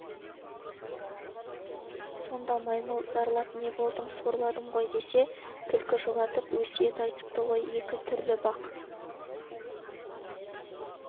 сонда маймыл зарлап не болдым сорладым ғой десе түлкі жұбатып өсиет айтыпты ғой екі түрлі бақ